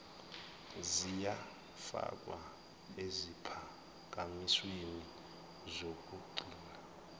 ziyafakwa eziphakamisweni zokugcina